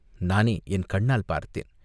"நானே என் கண்ணால் பார்த்தேன்.